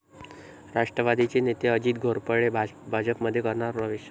राष्ट्रवादीचे नेते अजित घोरपडे भाजपमध्ये करणार प्रवेश